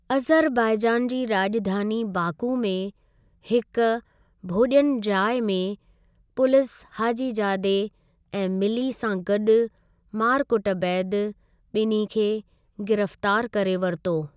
Azerbaijan जी राज॒धानी Baku में हिकु भोज॒नजा॒इ में पुलिस हाजीजादे ऐं मिल्ली सां गॾु मारकुट बैदि बि॒न्हीं खे गिरफ़्तारु करे वरितो।